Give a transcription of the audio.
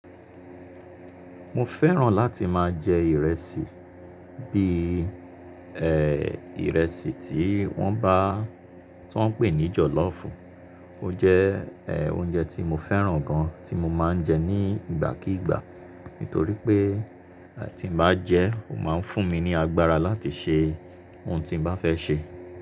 Mo fẹ́ràn láti máa jẹ ìrẹsì, bí ẹ́ ìrẹsì tí wọ́n bá tí wọ́n ń pè ní jọ̀lọ́fù. Ó jẹ́ ẹ́ oúnjẹ tí mo fẹ́ràn gan tí mo máa ń jẹ ní ìgbà kigbà. Nítorí pé tí n bá jẹ́, ó máa ń fún mi ní agbára láti ṣe ohun tí bá fẹ́ ṣe.